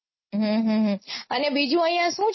હમ હમ હમ અને બીજું અઇયા સુ